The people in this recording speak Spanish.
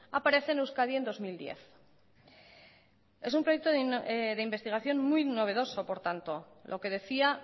aparece en euskadi en dos mil diez es un proyecto de investigación muy novedoso por tanto lo que decía